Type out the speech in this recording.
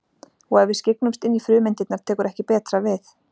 Og ef við skyggnumst inn í frumeindirnar tekur ekki betra við.